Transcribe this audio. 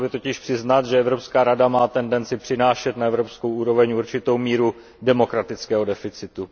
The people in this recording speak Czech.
Musel by totiž přiznat, že Evropská rada má tendenci přenášet na evropskou úroveň určitou míru demokratického deficitu.